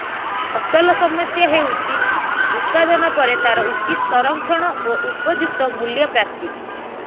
ଅସଲ ସମସ୍ୟା ହେଉଛି ଉତ୍ପାଦନ ପରେ ତାର ଉଚିତ୍ ସଂରକ୍ଷଣ ଓ ଉପଯୁକ୍ତ ମୂଲ୍ୟ ପ୍ରାପ୍ତି